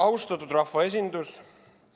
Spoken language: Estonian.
Austatud rahvaesindus!